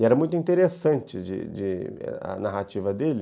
E era muito interessante de de a narrativa dele,